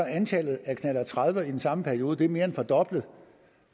antallet af knallert tredive i den samme periode er mere end fordoblet